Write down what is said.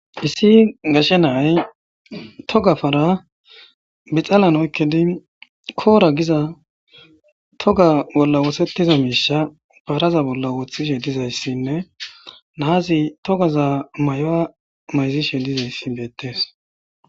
issi gashe na'ay togga para bixalan oykidi koora giza togga bolla wosettiza miishsha paraza bolla wooththidi dizayssinne naazi toggaza may'uwa mayzishshe dizayssi beettees